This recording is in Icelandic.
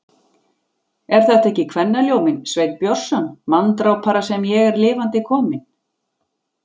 Er þetta ekki kvennaljóminn, Sveinn Björnsson, manndrápara, sem ég er lifandi kominn.